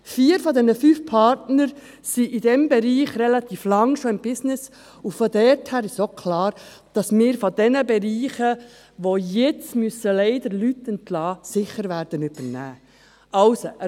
Vier der fünf Partner sind in diesem Bereich schon relativ lange im Business, und daher ist klar, dass wir aus diesen Bereichen, die jetzt leider Leute entlassen müssen, sicher Leute übernehmen werden.